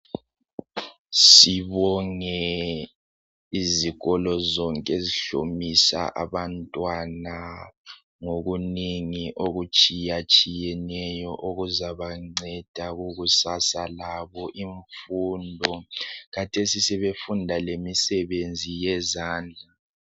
Sibonge izikolo zonke ezihlomisa abantwana ngokunengi okutshiyatshiyeneyo okuzabanceda kukusasa labo imfundo khathesi sebefunda lemisebenzi yezandla.